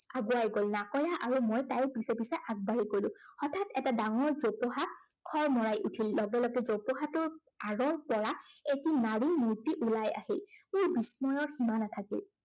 আগুৱাই গল। নাকৈয়া আৰু মই তাইৰ পিছি পিছে আগবাঢ়ি গলো। হঠাত এটা ডাঙৰ জোপোহা খৰমৰাই উঠিল। লগে লগে জোঁপোহাটোৰ আঁৰৰ পৰা এটি নাৰীৰ মূৰ্তি ওলাই আহিল। মোৰ বিস্ময়ৰ সীমা নাথাকিল।